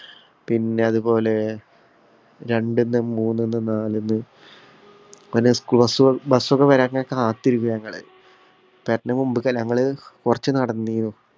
പിന്നെ, അതുപോലെ രണ്ട്ന്ന്, മൂന്നിന്നു, നാല്ന്ന് പിന്നെ schoolbus കള്‍ bus ക്കെ വരാന്‍ കാത്തു നില്‍ക്കും ഞങ്ങള്. ഞങ്ങള് കൊറച്ച് നടന്നീനു.